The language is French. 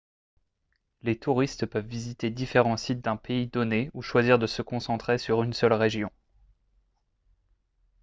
les touristes peuvent visiter différents sites d'un pays donné ou choisir de se concentrer sur une seule région